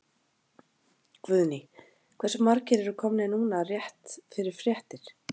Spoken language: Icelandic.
Guðný: Hversu margir eru komnir núna rétt fyrir fréttir?